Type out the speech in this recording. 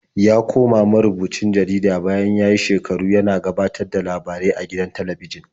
Ya koma marubucin jarida bayan ya yi shekaru yana gabatar da labarai a gidan talabijin.